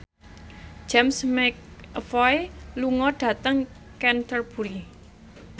James McAvoy lunga dhateng Canterbury